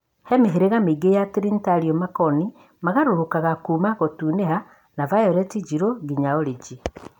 He mĩhĩrĩga mĩingi ya Trĩnĩtario, makoni magarũrũkaga kuma gũtuniha na vayoleti njirũ nginya orĩji.